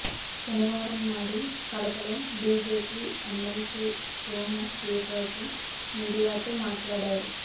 శనివారం నాడు కడపలో బిజెపి ఎమ్మెల్సీ సోము వీర్రాజు మీడియాతో మాట్లాడారు